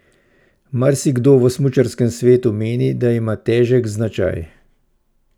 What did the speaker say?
Marsikdo v smučarskem svetu meni, da ima težek značaj.